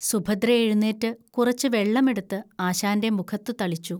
സുഭദ്ര എഴുന്നേറ്റ് കുറച്ചു വെള്ളം എടുത്ത് ആശാന്റെ മുഖത്തു തളിച്ചു